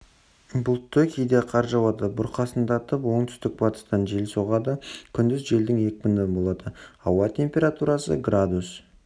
бұлтты кейде қар жауады бұрқасындатып оңтүстік-батыстан жел соғады күндіз желдің екпіні болады ауа температурасы градус